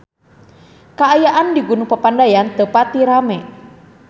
Kaayaan di Gunung Papandayan teu pati rame